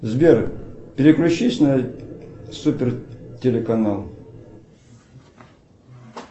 сбер переключись на супер телеканал